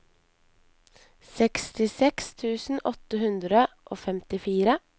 sekstiseks tusen åtte hundre og femtifire